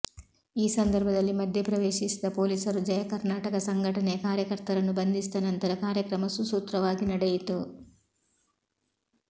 ಈ ಸಂದರ್ಭದಲ್ಲಿ ಮಧ್ಯೆ ಪ್ರವೇಶಿಸಿದ ಪೊಲೀಸರು ಜಯಕರ್ನಾಟಕ ಸಂಘಟನೆಯ ಕಾರ್ಯಕರ್ತರನ್ನು ಬಂಧಿಸಿದ ನಂತರ ಕಾರ್ಯಕ್ರಮ ಸುಸೂತ್ರವಾಗಿ ನಡೆಯಿತು